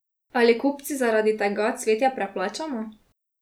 Ali kupci zaradi tega cvetje preplačamo?